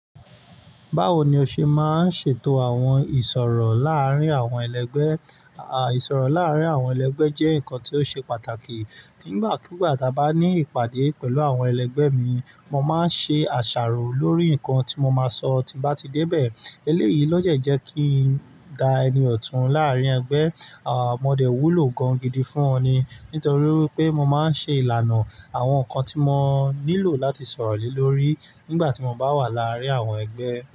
Báwo ni o ṣe máa ń ṣètò àwọn ìsọ̀rọ̀ láàárín àwọn ẹlẹgbẹ́? Àwọn ìsọ̀rọ̀ láàárín àwọn ẹlẹgbẹ́ jẹ́ nǹkan tí ó ṣe pàtàkì. Nígbàkúgbà tí mo bá ní ìpàdé pẹ̀lú àwọn ẹlẹgbẹ́ mi, mo máa ń ṣe àṣàrò lórí nǹkan tí mo máa sọ tí bá ti dé bẹ̀. Eléyìí lọ́jọ́ ẹ̀ jẹ́ kí n dá ẹni ọ̀tún láàrin ẹgbẹ́. Àwọn mọdé wúlò gan gidi fún ọ ni nítorí pé mo máa ń ṣe ìlànà àwọn nǹkan tí mo nílò láti sọ̀rọ̀ lé lórí nígbà tí mo bá wà láàárín àwọn ẹgbẹ́.